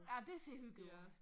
Ja dét ser hyggeligt ud